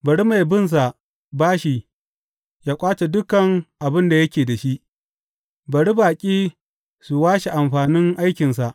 Bari mai binsa bashi yă ƙwace dukan abin da yake da shi; bari baƙi su washe amfanin aikinsa.